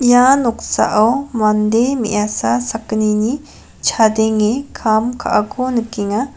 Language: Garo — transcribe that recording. ia noksao mande me·asa sakgnini chadenge kam ka·ako nikenga.